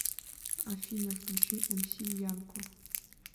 афина включи эмси янко